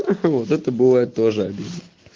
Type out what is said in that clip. ха-ха вот это бывает тоже обидно